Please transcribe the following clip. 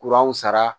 Kuran sara